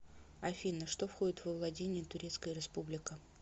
афина что входит во владения турецкая республика